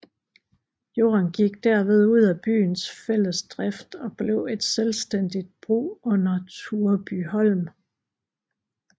Jorden gik derved ud af byens fællesdrift og blev et selvstændigt brug under Turebyholm